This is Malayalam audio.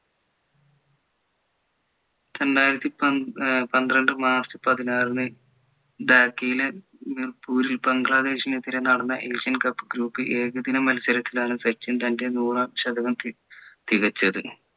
രണ്ടായിരത്തി ഏർ പന്ത്രണ്ട് മാർച്ച് പതിനാറിന് ധാക്കയിലെ മിർപുരിൽ ബംഗ്ലാദേശിനെതിരെ നടന്ന asian cup group ഏകദിനം മത്സരത്തിലാണ് സച്ചിൻ തൻ്റെ നൂറാം ശതകം ഏർ തികച്ചത്